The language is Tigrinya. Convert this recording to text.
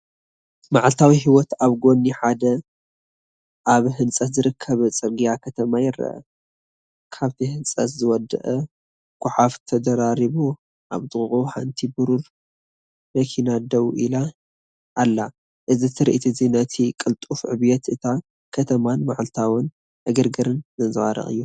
መዓልታዊ ህይወት ኣብ ጎኒ ሓደ ኣብ ህንጸት ዝርከብ ጽርግያ ከተማ ይርአ። ካብቲ ህንፀት ዝወጽእ ጎሓፍ ተደራሪቡ፣ ኣብ ጥቓኡ ሓንቲ ብሩር መኪና ደው ኢላ ኣላ። እዚ ትርኢት እዚ ነቲ ቅልጡፍ ዕብየት እታ ከተማን መዓልታዊ ዕግርግርን ዘንጸባርቕ እዩ።